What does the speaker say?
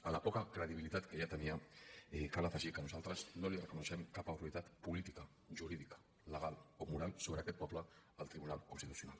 a la poca credibilitat que ja tenia cal afegir que nosaltres no li reconeixem cap autoritat política jurídica legal o moral sobre aquest poble al tribunal constitucional